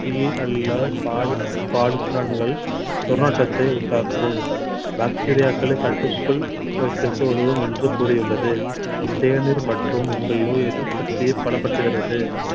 அல்ல துர்நாற்றத்தை உண்டாக்கும் bacteria க்களை கட்டுக்குள் வைத்திருக்க உதவும் என்று கூறியுள்ளது தேநீர் மற்றும் உங்கள் நோய் எதிர்ப்பு சக்தியை பலப்படுத்துகிறது